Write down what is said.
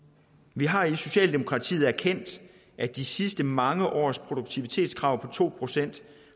vi har i socialdemokratiet erkendt at de sidste mange års produktivitetskrav på to procent